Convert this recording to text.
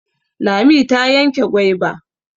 Lami ta yanke gwaiba.